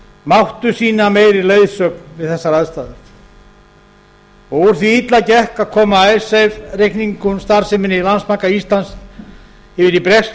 máttu sýna meiri leiðsögn við þessar aðstæður úr því að illa gekk að koma icesave reikningsstarfseminni í landsbanka íslands yfir í breskt